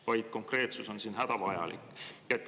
Nii et konkreetsus on siin hädavajalik.